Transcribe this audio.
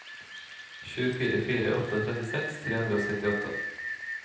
sju fire fire åtte trettiseks tre hundre og syttiåtte